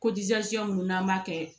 munnu n'an b'a kɛ